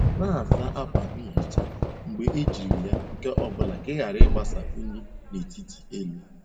Na-asa ákwà nhicha mgbe ejiri ya nke ọ bụla ka ị ghara ịgbasa unyi n'etiti elu.